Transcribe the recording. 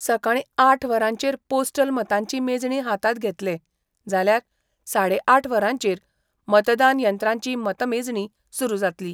सकाळी आठ वरांचेर पोस्टल मतांची मेजणी हातात घेतले, जाल्यार साडे आठ वरांचेर मतदान यंत्रांची मतमेजणी सुरु जातली.